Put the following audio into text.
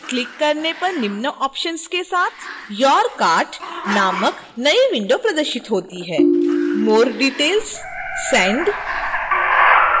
click करने पर निम्न options के साथ your cart नामक नई window प्रदर्शित होती है: